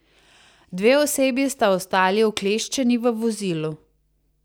Dve osebi sta ostali ukleščeni v vozilu.